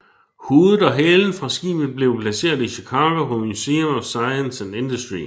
Hovedet og halen fra skibet blev placeret i Chicago på Museum of Science and Industry